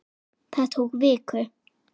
Það tók viku.